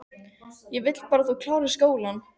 Ég vil bara að þú klárir skólann